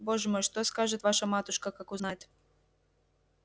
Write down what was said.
боже мой что скажет ваша матушка как узнает